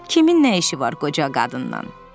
Kimin nə işi var qoca qadından?